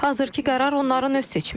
Hazırkı qərar onların öz seçimidir.